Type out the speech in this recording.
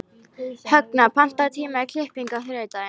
Högna, pantaðu tíma í klippingu á þriðjudaginn.